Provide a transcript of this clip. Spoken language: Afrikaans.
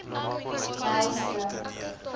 nylstroom